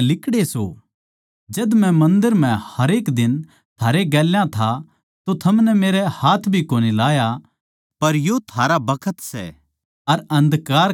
जद मै मन्दर म्ह हरेक दिन थारै गेल्या था तो थमनै मेरै हाथ भी कोनी लाया पर यो थारा बखत सै अर अन्धकार का हक सै